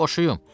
Boşuyum.